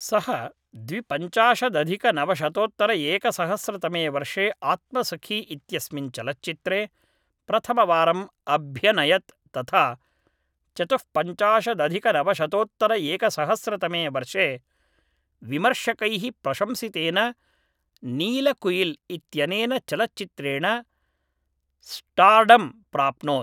सः द्विपञ्चाशदधिकनवशतोत्तरएकसहस्रतमे वर्षे आत्मसखी इत्यस्मिन् चलच्चित्रे प्रथमवारम् अभ्यनयत् तथा चतुःपञ्चाशदधिकनवशतोत्तरएकसहस्रतमे वर्षे विमर्शकैः प्रशंसितेन नीलकुयिल् इत्यनेन चलच्चित्रेण स्टार्डं प्राप्नोत्